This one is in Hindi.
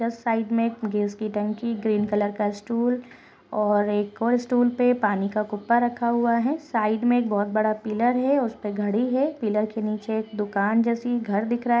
लेफ्ट साइड मे गैस की टंकी ग्रीन कलर का स्टूल और एक और स्टूल पर पानी का गुब्बा रखा हुआ है साइड में बहुत बड़ा पिलर है उसे पर घड़ी है पिलर के नीचे दुकान जैसी एक घर दिख रहा हैं--